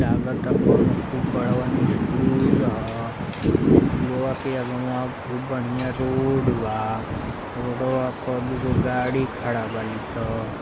लगता कउनो खूब बड़वन स्कूल ह । स्कूल वा के अगवा खूब बढ़िया रोड बा। रोडवा प दुगो गाड़ी खड़ा बाड़ी सब।